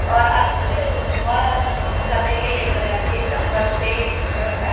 और आज कल बॉय और गर्ल में ज्यादा ये नहीं कलना चाहिए सब होता है।